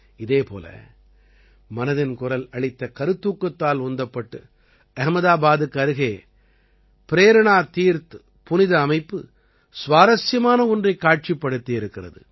இதே போல மனதின் குரல் அளித்த கருத்தூக்கத்தால் உந்தப்பட்டு அஹ்மதாபாதுக்கு அருகே ப்ரேரணா தீர்த் புனித அமைப்பு சுவாரசியமான ஒன்றைக் காட்சிப்படுத்தியிருக்கிறது